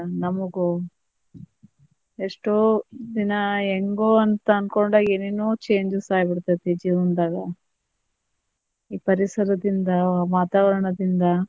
ನಮಗೂ ಎಷ್ಟೋ ದಿನಾ ಹೆಂಗೋ ಅಂತ ಅನ್ಕೊಂಡ ಏನೇನೊ changes ಆಗಿರತೈತಿ ಜೀವನದಾಗ ಈ ಪರಿಸರದಿಂದ ವಾತಾವರಣದಿಂದ.